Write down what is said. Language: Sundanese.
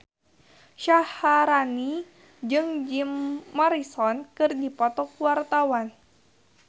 Syaharani jeung Jim Morrison keur dipoto ku wartawan